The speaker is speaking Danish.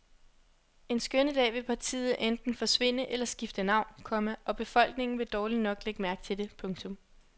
En skønne dag vil partiet enten forsvinde eller skifte navn, komma og befolkningen vil dårligt nok lægge mærke til det. punktum